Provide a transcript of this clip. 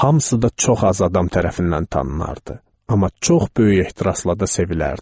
Hamısı da çox az adam tərəfindən tanınırdı, amma çox böyük ehtirasla da sevilərdi.